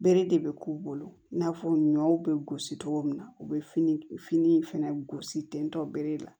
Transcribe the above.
Bere de bɛ k'u bolo i n'a fɔ ɲɔw bɛ gosi cogo min na u bɛ fini fini fɛnɛ gosi ten tɔ bere la